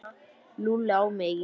Lúlli á mig ekki.